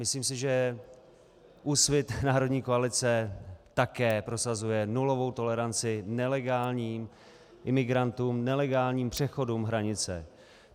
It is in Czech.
Myslím si, že Úsvit - národní koalice také prosazuje nulovou toleranci nelegálním imigrantům, nelegálním přechodům hranice.